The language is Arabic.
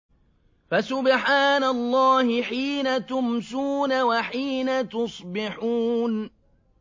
فَسُبْحَانَ اللَّهِ حِينَ تُمْسُونَ وَحِينَ تُصْبِحُونَ